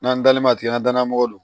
N'an dalen ma tigɛ an ka danaya mɔgɔ lo